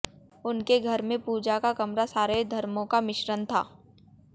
उनके घर में पूजा का कमरा सारे धर्मों का मिश्रण था